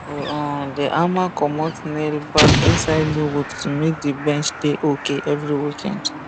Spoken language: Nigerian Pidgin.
we um dey hammer comot nail back inside the wood to make the bench dey okay every weekend